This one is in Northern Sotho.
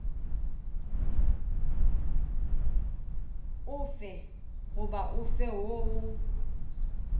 ofe goba ofe woo o